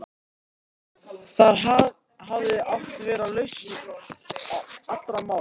Þar hafði átt að vera lausn allra mála.